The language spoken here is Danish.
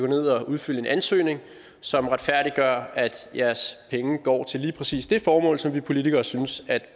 ned og udfylde en ansøgning som retfærdiggør at jeres penge går til lige præcis det formål som vi politikere synes